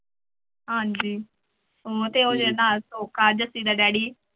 ਹਾਂਜੀ ਉਹ ਤੇ ਉਹਦੇ ਨਾਲ ਦਾ daddy